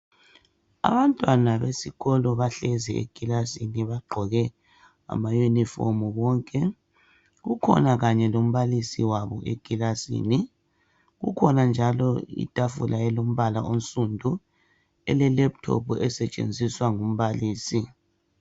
Abantwana besikolo bahlezi ekilasini bagqoke amayunifomu bonke kukhona kanye lombalisi wabo ekilasini kukhona njalo itafula elombala onsundu elelephuthophu esetshenziswa ngumbalisi.